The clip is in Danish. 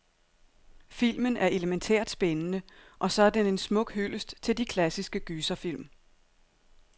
Filmen er elemæntært spændende, og så er den en smuk hyldest til de klassiske gyserfilm.